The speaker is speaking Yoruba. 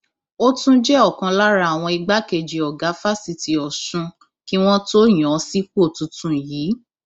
ó tún jẹ ọkan lára àwọn igbákejì ọgá fásitì ọsùn kí wọn tóó yàn án sípò tuntun yìí